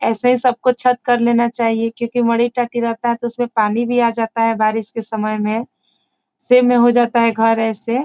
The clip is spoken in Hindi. ऐसे सबको छत कर लेना चाहिए क्यूंकि मड़ी-टट्टी रहता है तो उसमें पानी भी आ जाता है बारिश के समय में सेम में हो जाता है घर ऐसे।